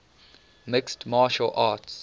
mixed martial arts